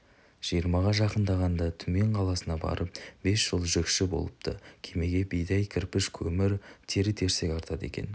жиырмаға жақындағанда түмен қаласына барып бес жыл жүкші болыпты кемеге бидай кірпіш көмір тері-терсек артады екен